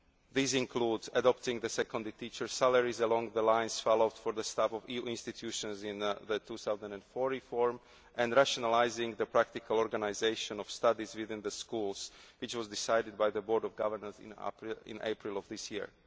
control. These include adapting seconded teachers' salaries along the lines followed for the staff of the EU institutions in the 2004 reform and rationalising the practical organisation of studies within the schools, which was decided by the Board of Governors in April of